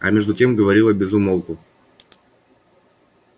а между тем говорила без умолку